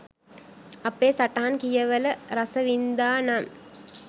අපේ සටහන් කියවල රසවින්දානම්